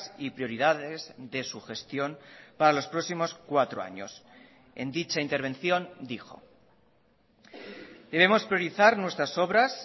y prioridades de su gestión para los próximos cuatro años en dicha intervención dijo debemos priorizar nuestras obras